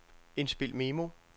indspil memo